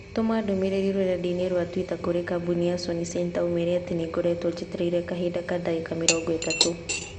Tũma ndũmĩrĩri rũrenda-inī rũa tũita kũrī kambũni ya Sony Centre ũmeere atĩ nĩ ngoretwo njetereire kahinda ka ndagika mĩrongo ĩtatũ.